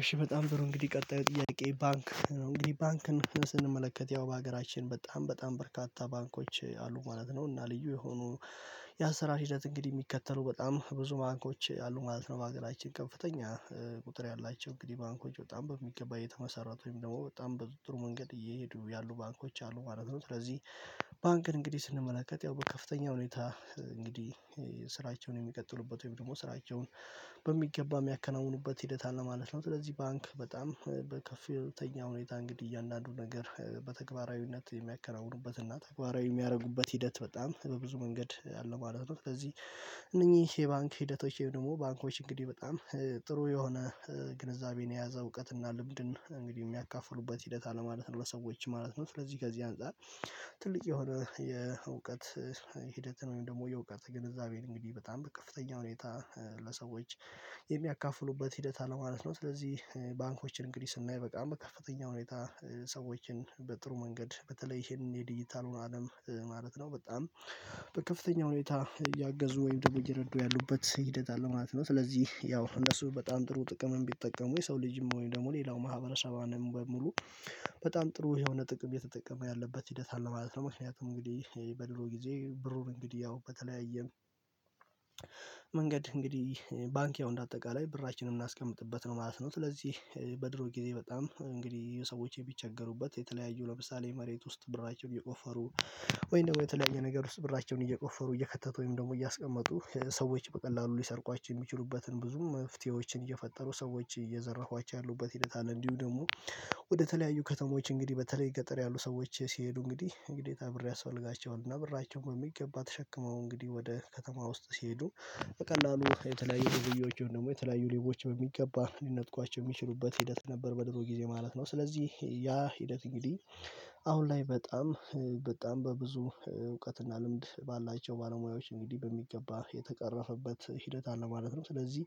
እሺ በጣም ጥሩ እንግዲህ ቀጣዩ ጥያቄ ባንክ ነው እንግዲህ ባንክን ስንመለከት ያው በሀገራችን በጣም በጣም በርካታ ባንኮች አሉ ማለት ነው። እና ልዩ የሆኑ ያሰራር ሂደት እንግዲህ የሚከተሉ በጣም ብዙ ባንኮች አሉ ማለት ነው። በአገራችን ከፍተኛ ቁጥር ያላቸው እንግዲህ ባንኮች በጣም በሚገባ የተመሰረቱ ወይም ደግሞ በጣም በጥሩ መንገድ እየሄዱ ያሉ ባንኮች አሉ ማለት ነው። ስለዚህ ባንክን እንግዲህ ስንመለከት ያው በከፍተኛ ሁኔታ እንግዲህ ስራቸውን የሚቀጥሉበት ወይም ደግሞ ስራቸውን በሚገባ የሚያከናውኑበት ሂደት አለ ማለት ነው። ስለዚህ ባንክ በጣም በከፍተኛ ሁኔታ እንግዲህ እያንዳንዱ ነገር በተግባራዊነት የሚያከናውኑበት እና ተግባራዊ ሚያረጉበት ሂደት በጣም በብዙ መንገድ አለ ማለት ነው። ስለዚህ እነኚህ የባንክ ሂደቶች ወይ ደግሞ ባንኮች እንግዲህ በጣም ጥሩ የሆነ ግንዛቤን የያዘ እውቀትና ልምድን እንግዲህ የሚያካፍሉበት ሂደት አለማለት ነው ለሰዎች ማለት ነው። ስለዚህ ከዚህ አንፃር ትልቅ የሆነ የእውቀት ሂደትን ወይም ደግሞ የእውቀት ግንዛቤን እንግዲህ በጣም በከፍተኛ ሁኔታ ለሰዎች የሚያካፍሉበት ሂደት አለ ማለት ነው። ስለዚህ ባንኮችን እንግዲህ ስናይ በቃ በከፍተኛ ሁኔታ ሰዎችን በጥሩ መንገድ በተለይ ይሄን የዲጂታሉን አለም ማለት ነው በጣም በከፍተኛ ሁኔታ እያገዙ ወይም ደግሞ እየረዱ ያሉበት ሂደት አለ ማለት ነው። ስለዚህ ያው እነሱ በጣም ጥሩ ጥቅም ቢጠቀሙ የሰው ልጅም ወይም ደግሞ ሌላው ማህበረሰብንም በሙሉ በጣም ጥሩ የሆነ ጥቅም የተጠቀመ ያለበት ሂደት አለ ማለት ነው። ምክንያቱም እንግዲህ በድሮ ጊዜ ብሩን እንግዲህ ያው በተለያየም መንገድ እንግዲህ ባንኪያው እንደ አጠቃላይ ብራችንን እናስቀምጥበት ነው ማለት ነው። ስለዚህ በድሮ ጊዜ በጣም እንግዲህ ሰዎች የሚቸገሩበት የተለያዩ ለምሳሌ መሬት ውስጥ ብራቸውን የቆፈሩ ወይም ደግሞ የተለያየ ነገር ውስጥ ብራቸውን እየቆፈሩ እየከተቱ ወይም ደግሞ እያስቀመጡ ሰዎች በቀላሉ ሊሰርቋቸው የሚችሉበትን ብዙ መፍትሄዎችን እየፈጠሩ ሰዎች እየዘረፏቸው ያሉበት ሂደት አለ። እንዲሁ ደግሞ ወደተለያዩ ከተሞች እንግዲህ በተለይ ገጠር ያሉ ሰዎች ሲሄዱ እንግዲህ እንግዲህ ታብሬ አስፈልጋቸዋለሁ እና ብራቸውን በሚገባ ተሸክመው እንግዲህ ወደ ከተማ ውስጥ ሲሄዱ በቀላሉ የተለያዩ ሌቦች ደግሞ የተለያዩ ሌቦች በሚገባ ሊነጥቋቸው የሚችሉበት ሂደት ነበር። በድሮ ጊዜ ማለት ነው ስለዚህ ያ ሂደት እንግዲህ አሁን ላይ በጣም በጣም በብዙ እውቀትና ልምድ ባላቸው ባለሙያዎች እንግዲህ በሚገባ የተቀረፈበት ሂደት አለ ማለት ነው። ስለዚህ